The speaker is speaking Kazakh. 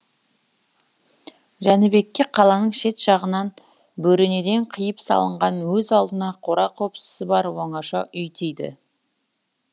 жәнібекке қаланың шет жағынан бөренеден қиып салынған өз алдына қора қопсысы бар оңаша үй тиді